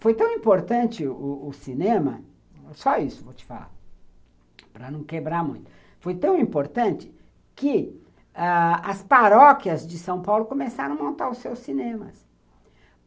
Foi tão importante o o o cinema, só isso vou te falar, para não quebrar muito, foi tão importante que as paróquias de São Paulo começaram a montar os seus cinemas.